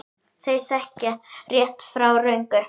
Þau þekkja rétt frá röngu.